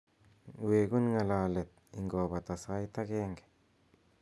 wegun ng'alalet ingobata sait agenge